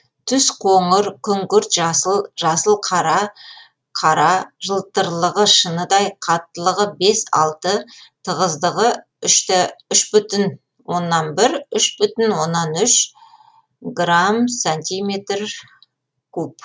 түсі қоңыр күңгірт жасыл жасыл қара қара жылтырлығы шыныдай қаттылығы бес алты тығыздығы үш бүтін оннан бір үш бүтін оннан үш грамм сантиметр куб